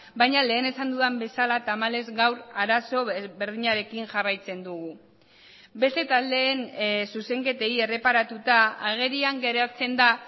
baina lehen esan dudan bezala tamalez gaur arazo berdinarekin jarraitzen dugu beste taldeen zuzenketei erreparatuta agerian geratzen da